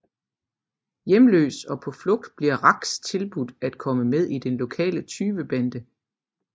Hjemløs og på flugt bliver Rax tilbudt at komme med i den lokale tyvebande